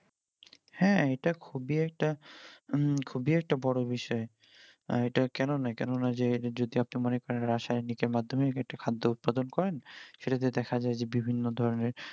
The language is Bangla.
হ্যাঁ এটা খুবই একটা উম খুবই একটা বড়ো বিষয় আহ এটা কেননা কেননা যে যদি যদি আপনি মনে করেন রাসায়নিক এর মাধ্যমে খাদ্য উৎপাদন করেন সেটা তে দেখা যায় যে বিভিন্ন ধরনের